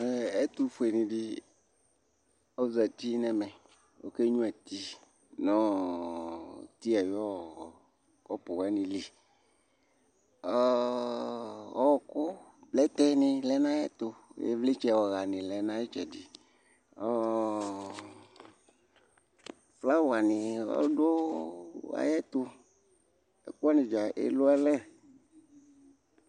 Ɛtʋ fue nɩ ɖɩ ,ozati nʋ ɛmɛ ,onƴua ti nʋ ti aƴʋ ƙɔpʋ wa nɩ liƆƙʋ, plɛtɛ nɩ lɛ nʋ aƴɛtʋIvlɩtsɛ ɔha nʋ flawa nɩ lɛ nʋ aƴɛtʋ; ɛƙʋ wanɩ ɖza elualɛ